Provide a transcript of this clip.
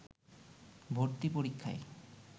ভর্তি পরীক্ষায়